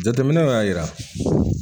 Jateminɛw y'a jira